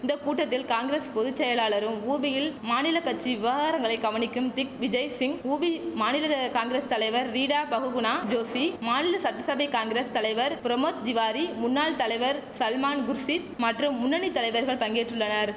இந்த கூட்டத்தில் காங்கிரஸ் பொது செயலரும் உபியில் மாநில கச்சி விவகாரங்களை கவனிக்கும் திக் விஜய்சிங் உபி மாநில காங்கிரஸ் தலைவர் ரீடா பகுகுணா ஜோஷி மாநில சட்டசபை காங்கிரஸ் தலைவர் பிரமோத் திவாரி முன்னாள் தலைவர் சல்மான் குர்ஷித் மற்றும் முன்னணி தலைவர்கள் பங்கேற்றுள்ளனர்